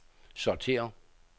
sortér